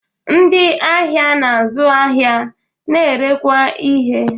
Ndị ahịa na-azụ ahịa na-erekwa ihe